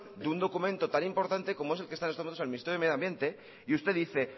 de un documento tan importante como es el que está en estos momentos en el ministerio de medio ambiente y usted dice